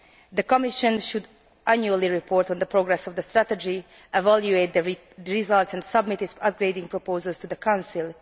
The Commission should report annually on the progress of the strategy, evaluate the results and submit its upgrading proposals to the Council.